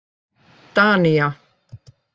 Danía